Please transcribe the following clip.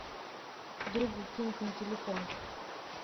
другу кинуть на телефон